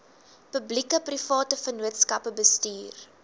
publiekeprivate vennootskappe bestuur